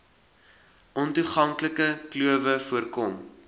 ontoeganklike klowe voorkom